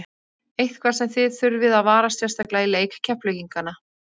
Eitthvað sem að þið þurfið að varast sérstaklega í leik Keflvíkingana?